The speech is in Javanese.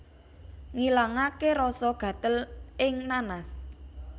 Ngilangaké rasa gatel ing nanas